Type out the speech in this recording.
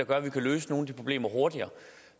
gøre at vi kunne løse nogle af de problemer hurtigere